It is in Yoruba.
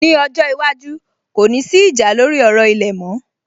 Ní ọjọ́ iwájú, kò ní sí ìjà lórí ọ̀rọ̀ ilẹ̀ mọ́